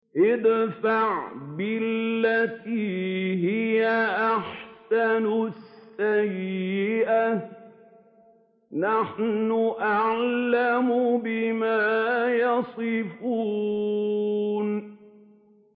ادْفَعْ بِالَّتِي هِيَ أَحْسَنُ السَّيِّئَةَ ۚ نَحْنُ أَعْلَمُ بِمَا يَصِفُونَ